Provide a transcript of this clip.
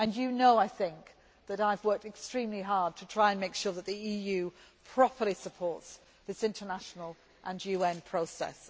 to do. I think you know that I have worked extremely hard to try to make sure that the EU properly supports this international and UN